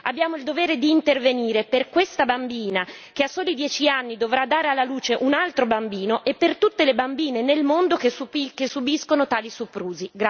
Abbiamo il dovere di intervenire per questa bambina che a soli 10 anni dovrà dare alla luce un altro bambino e per tutte le bambine nel mondo che subiscono tali soprusi.